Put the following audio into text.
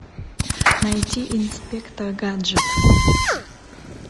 найти инспектор гаджет